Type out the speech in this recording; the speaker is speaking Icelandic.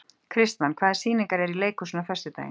Kristmann, hvaða sýningar eru í leikhúsinu á föstudaginn?